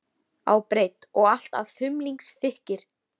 á breidd og allt að þumlungsþykkir.